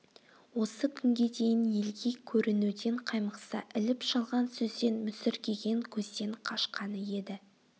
осы күнге дейін елге көрінуден қаймықса іліп-шалған сөзден мүсіркеген көзден қашқаны еді